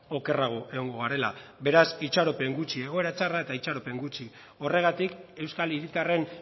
okerrago egongo garela beraz itxaropen gutxi egoera txarra eta itxaropen gutxi horregatik euskal hiritarren